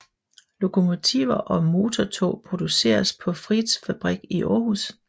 Lokomotiver og motortog produceres på Frichsfabrik i Aarhus